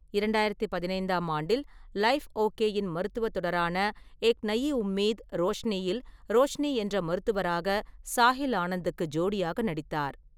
இரண்டாயிரத்து பதினைந்தாம் ஆண்டில், லைஃப் ஓகேயின் மருத்துவத் தொடரான ஏக் நயி உம்மீத் - ரோஷ்னியில் ரோஷினி என்ற மருத்துவராக சாஹில் ஆனந்துக்கு ஜோடியாக நடித்தார்.